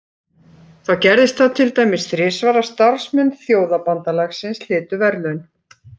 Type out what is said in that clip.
Þá gerðist það til dæmis þrisvar að starfsmenn Þjóðabandalagsins hlytu verðlaun.